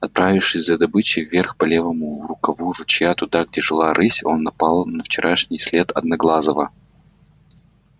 отправившись за добычей вверх по левому рукаву ручья туда где жила рысь он напал на вчерашний след одноглазого